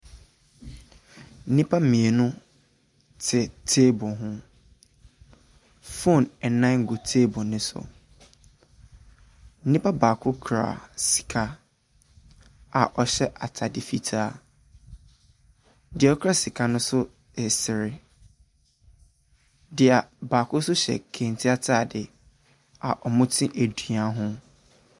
Nipa mienu te teebol ho. Fon ɛnan gu teebol ne so, nipa baako kura sika a ɔhyɛ ataade fitaa. Deɛ okura sika no resere. Baako so hyɛ kente ataadeɛ a ɔmo te edua ho.